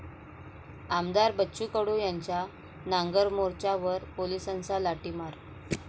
आमदार बच्चू कडू यांच्या 'नांगर मोर्चा'वर पोलिसांचा लाठीमार